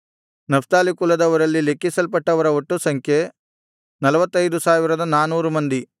Naphtali ಕುಲದವರಲ್ಲಿ ಲೆಕ್ಕಿಸಲ್ಪಟ್ಟವರ ಒಟ್ಟು ಸಂಖ್ಯೆ 45400 ಮಂದಿ